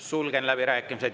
Sulgen läbirääkimised.